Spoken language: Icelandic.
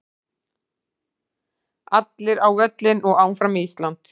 Allir á völlinn og Áfram Ísland.